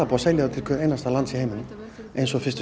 að selja til hvers einasta lands í heiminum eins og fyrstu